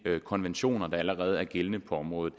konventioner der allerede er gældende på området